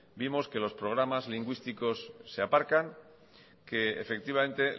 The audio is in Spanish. vimos que los programas lingüísticos se aparcan que efectivamente